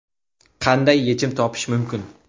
Qanday yechim topish mumkin?